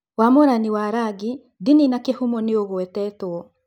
Wamũrani wa rangi, ndini na kĩhumo nĩugwetetwo.